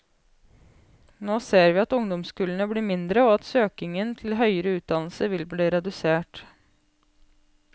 Nå ser vi at ungdomskullene blir mindre og at søkningen til høyere utdannelse vil bli redusert.